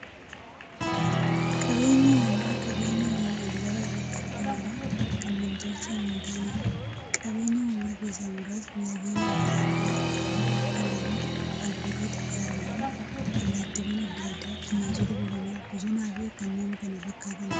Qabeenyi uumamaa qabeenya uumamaan lafa irratti argamanii, kan nam-tolchee hintaaneedha. Qabeenya uumamaa keessaa muraasni; laggeen adda addaa, haroowwan, galaanota, albuudota, gaarreen, allattiiwwan adda addaa, bineensota bosonaa, bosonafi kanneen kana fakkataniidha.